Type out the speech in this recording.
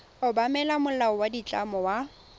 obamela molao wa ditlamo wa